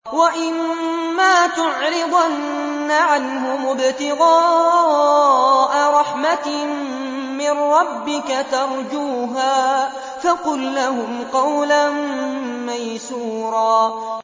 وَإِمَّا تُعْرِضَنَّ عَنْهُمُ ابْتِغَاءَ رَحْمَةٍ مِّن رَّبِّكَ تَرْجُوهَا فَقُل لَّهُمْ قَوْلًا مَّيْسُورًا